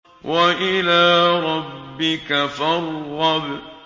وَإِلَىٰ رَبِّكَ فَارْغَب